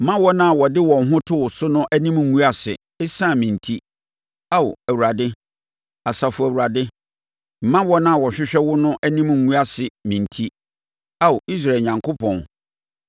Mma wɔn a wɔde wɔn ho to wo so no anim ngu ase ɛsiane me enti, Ao Awurade, Asafo Awurade; mma wɔn a wɔhwehwɛ wo no anim ngu ase me enti, Ao Israel Onyankopɔn.